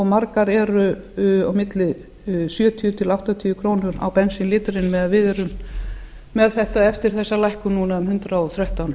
margar eru á milli sjötíu til áttatíu krónur á bensínlítra á meðan við erum með þetta eftir þessa lækkun núna um hundrað og þrettán